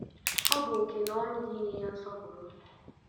ọ bụ oke na ọrụ gị inye ya nsọpụrụ.